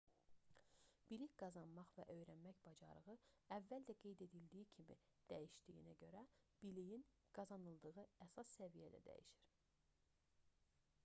bilik qazanmaq və öyrənmək bacarığı əvvəl də qeyd edildi kimi dəyişdiyinə görə biliyin qazanıldığı əsas səviyyə də dəyişir